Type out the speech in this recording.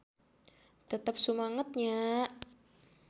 Tetep sumanget nya.